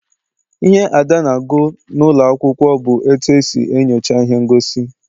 Ihe Ada na-agụ n'ụlọ akwụkwọ bụ etu esi enyocha ihe ngosi.